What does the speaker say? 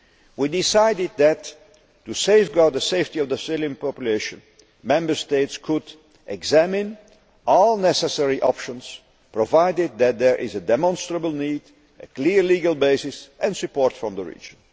We decided that, to safeguard the safety of the civilian population, Member States could examine all necessary options, provided that there is a demonstrable need, a clear legal basis and support from the region.